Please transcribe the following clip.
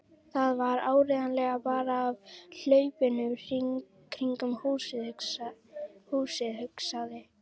Það var áreiðanlega bara af hlaupunum kringum húsið, hugsaði